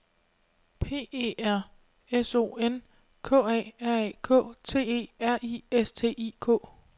P E R S O N K A R A K T E R I S T I K